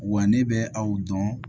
Wa ne bɛ aw dɔn